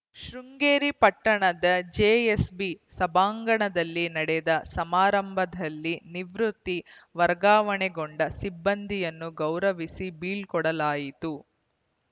ಶೃಂಗೇರಿ ಪಟ್ಟಣದ J SB ಸಭಾಂಗಣದಲ್ಲಿ ನಡೆದ ಸಮಾರಂಭದಲ್ಲಿ ನಿವೃತ್ತಿ ವರ್ಗಾವಣೆಗೊಂಡ ಸಿಬ್ಬಂದಿಯನ್ನು ಗೌರವಿಸಿ ಬೀಳ್ಕೊಡಲಾಯಿತು